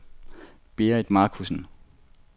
Berit Marcussen